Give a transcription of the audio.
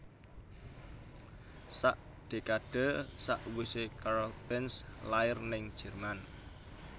Sak dekade sakwise Karl Benz lair ning Jerman